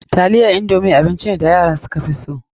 Taliyan indomi abinci ne da yara suka fi so.